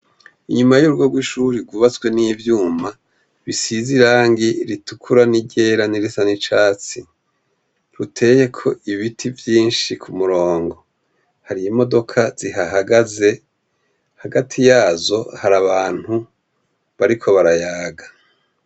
Inyuma y'urugo rw'ishure rwubatswe n'ivyuma bisize irangi ritukura n'iryera n'irisa n'icatsi, ruteyeko ibiti vyinshi ku murongo. Hari imodoka zihahagaze, hagati yazo hari abantu bariko barayaga.